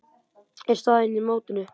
er staðan í mótinu.